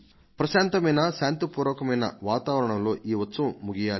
ప్రశాంతమైన శాంతిపూర్వకమైన వాతావరణంలో ఈ ఉత్సవం ముగియాలి